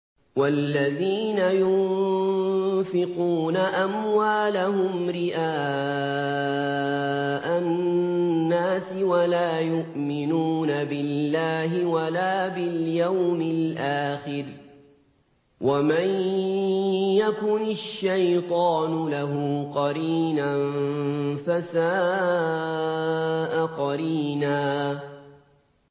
وَالَّذِينَ يُنفِقُونَ أَمْوَالَهُمْ رِئَاءَ النَّاسِ وَلَا يُؤْمِنُونَ بِاللَّهِ وَلَا بِالْيَوْمِ الْآخِرِ ۗ وَمَن يَكُنِ الشَّيْطَانُ لَهُ قَرِينًا فَسَاءَ قَرِينًا